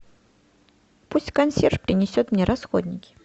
пусть консьерж принесет мне расходники